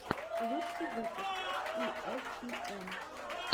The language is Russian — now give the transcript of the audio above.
лучший выпуск и эс пи эн